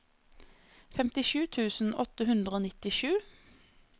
femtisju tusen åtte hundre og nittisju